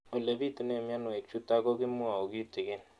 Ole pitune mionwek chutok ko kimwau kitig'�n